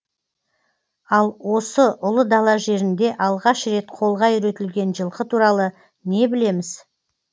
ал осы ұлы дала жерінде алғаш рет қолға үйретілген жылқы туралы не білеміз